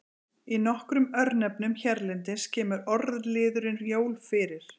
Í nokkrum örnefnum hérlendis kemur orðliðurinn jól fyrir.